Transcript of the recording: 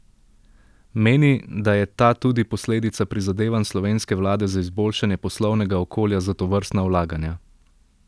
Meni, da je ta tudi posledica prizadevanj slovenske vlade za izboljšanje poslovnega okolja za tovrstna vlaganja.